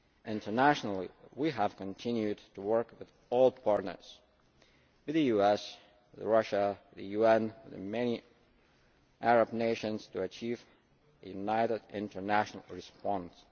Internationally we have continued to work with all partners with the US, with Russia, the UN and many Arab nations to achieve a united international response.